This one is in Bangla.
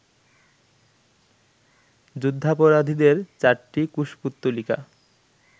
যুদ্ধাপরাধীদের চারটি কুশপুত্তলিকা